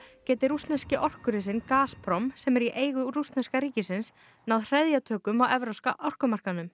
geti rússneski orkurisinn Gazprom sem er í eigu rússneska ríkisins náð hreðjatökum á evrópska orkumarkaðnum